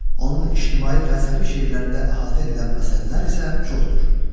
Onun ictimai fəlsəfi şeirlərində əhatə edilən məsələlər isə çoxdur.